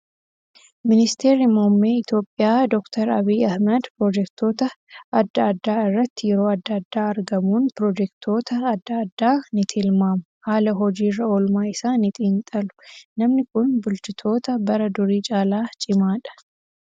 Ministeerri muummee Itoophiyaa doktar Abiyyi Ahmad piroojeektota adda addaa irratti yeroo adda addaa argamuun piroojeektota adda addaa ni tilmaamu haala hojiirra oolmaa isaa ni xiinxalu. Namni Kun bulchitoota bara durii caalaa cimaadha.